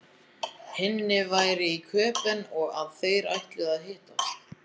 Hinni væri í Köben og að þeir ætluðu að hittast.